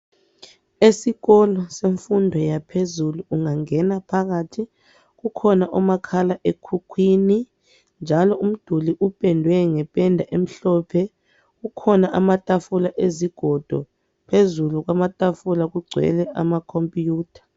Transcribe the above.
Esikolo semfundo yaphezulu ungangena phakathi kukhona umakhala ekhukhwini njalo umduli upendwe ngependa emhlophe. Kukhona amatafula ezigodo. Phezulu kwamatafula kugcwele ama computer.